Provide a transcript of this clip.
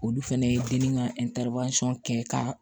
Olu fɛnɛ ye dennin ka kɛ ka